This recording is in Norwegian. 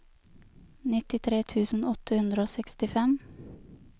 nittitre tusen åtte hundre og sekstifem